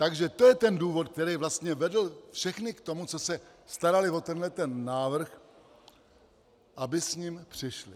Takže to je ten důvod, který vlastně vedl všechny k tomu, co se starali o tenhleten návrh, aby s ním přišli.